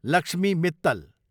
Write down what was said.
Lakshmi Mittal